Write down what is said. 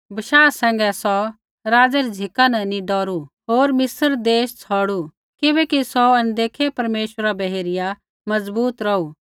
बशाह सैंघै सौ राज़ै री झ़िका न नी डौरू होर मिस्र देश छौड़ू किबैकि सौ अनदेखै परमेश्वरा बै हेरिया मजबूत रौहू